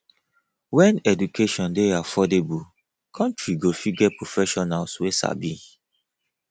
when education dey affordable country go fit get professionals wey sabi